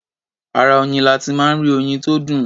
Ara oyin la ti máa ń rí oyin tó dùn.